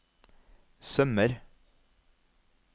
sømmer